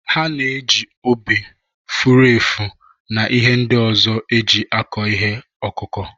Ha na-eji obe, furu efu, na ihe ndị ọzọ eji akụ ihe ọkụkụ.